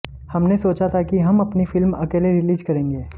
हमने सोचा था कि हम अपनी फिल्म अकेले रिलीज करेंगे